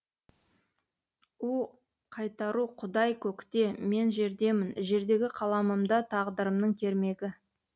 у қайтару құдай көкте мен жердемін жердегі қаламымда тағдырымның кермегі